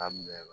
Daminɛ la